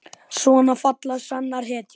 Svona falla sannar hetjur.